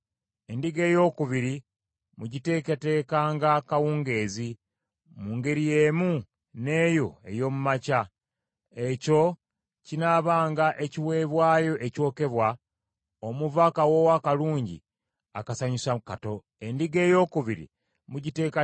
Endiga eyookubiri mugiteekateekanga kawungeezi, mu ngeri y’emu n’eyo ey’omu makya. Ekyo kinaabanga ekiweebwayo ekyokebwa, omuva akawoowo akalungi akasanyusa Mukama Katonda.’